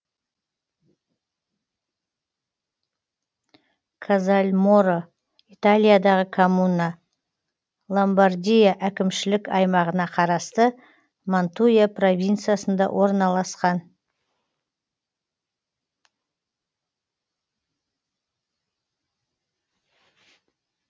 казальморо италиядағы коммуна ломбардия әкімшілік аймағына қарасты мантуя провинциясында орналасқан